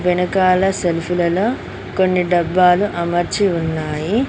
వెనకాల సెల్పులలో కొన్ని డబ్బాలు అమర్చి ఉన్నాయి.